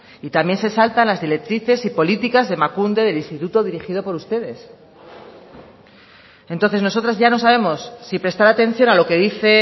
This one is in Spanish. y también se salta las directrices y políticas de emakunde del instituto dirigido por ustedes entonces nosotras ya no sabemos si prestar atención a lo que dice